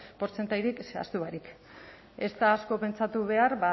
portzentairik zehaztu barik ez da asko pentsatu behar